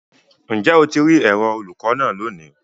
Njẹ o ti ri ẹrọ olukọ naa loni?